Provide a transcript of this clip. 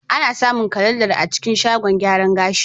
Ana samun kalandar a cikin shagon gyaran gashi.